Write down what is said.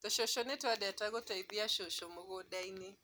Tũcucu nĩtũendete gũteithia cucu mũgũndainĩ